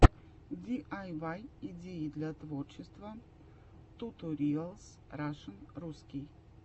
диайвай идеи для творчества туториалс рашн русский